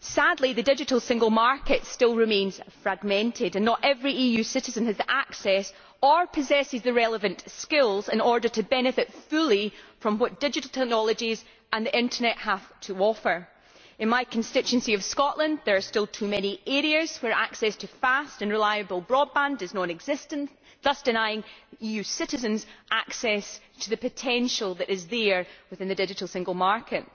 Sadly, the Digital Single Market still remains fragmented, and not every EU citizen has access or possesses the relevant skills in order to benefit fully from what digital technologies and the internet have to offer. In my constituency of Scotland, there are still too many areas where access to fast and reliable broadband is non existent, thus denying EU citizens access to the potential that is there within the Digital Single Market.